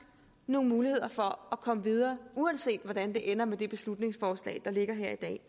nogle muligheder for at komme videre uanset hvordan det ender med det beslutningsforslag der ligger her i dag